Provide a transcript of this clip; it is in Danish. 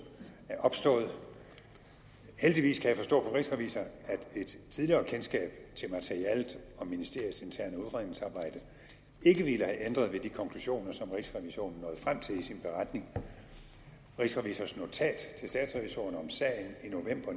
er opstået heldigvis kan jeg forstå på rigsrevisor at et tidligere kendskab til materialet om ministeriets interne udredningsarbejde ikke ville have ændret ved de konklusioner som rigsrevisionen nåede frem til i sin beretning rigsrevisors notat til statsrevisorerne om sagen i november